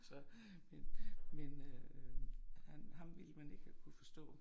Så min min øh ham ville man ikke have kunne forstå